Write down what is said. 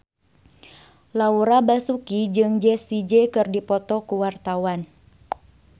Laura Basuki jeung Jessie J keur dipoto ku wartawan